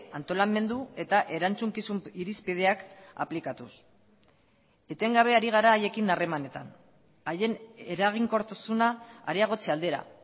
antolamendu eta erantzukizun irizpideak aplikatuz etengabe ari gara haiekin harremanetan haien eraginkortasuna areagotze aldera